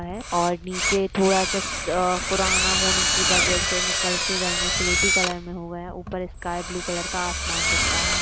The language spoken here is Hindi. हैं और नीचे थोड़ा सा अ पुराना होने की वजह से निकल सी गई है स्लेटी कलर में हुए हैं ऊपर स्काई ब्लू कलर का आसमान दिख रहा --